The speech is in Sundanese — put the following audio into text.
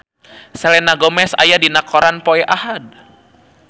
Selena Gomez aya dina koran poe Ahad